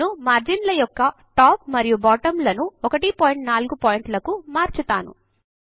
నేను మార్జిన్ల యొక్క టాప్ మరియు బాటమ్ లను 14పీటీ లకు మార్చుతాను